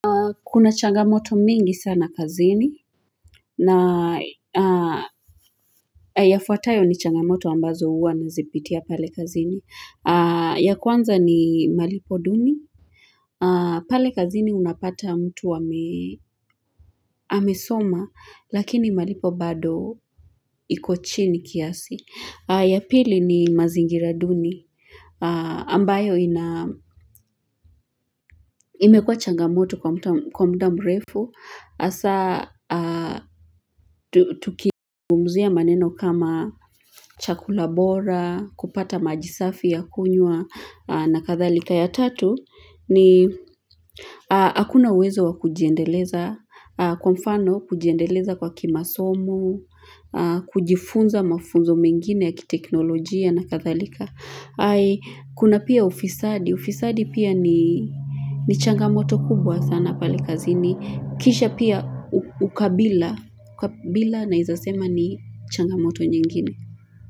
Kuna changamoto mingi sana kazini na yafuatayo ni changamoto ambazo uwa nazipitia pale kazini ya kwanza ni malipo duni pale kazini unapata mtu wamesoma lakini malipo bado iko chini kiasi ya pili ni mazingira duni ambayo ina imekuwa changamoto kwa mta kwa muda mrefu asa Tukizungumzia maneno kama chakula bora, kupata maji safi ya kunywa na kadhalika ya tatu ni hakuna uwezo wa kujiendeleza kwa mfano kujiendeleza kwa kimasomo kujifunza mafunzo mengine ya kiteknolojia na kadhalika ai Kuna pia ufisadi, ufisadi pia ni changamoto kubwa sana pale kazini Kisha pia ukabila ukabila naezasema ni changamoto nyingine.